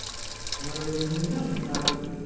আমার বন্ধুর নাম রাহুল